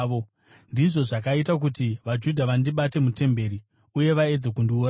Ndizvo zvakaita kuti vaJudha vandibate mutemberi uye vaedze kundiuraya.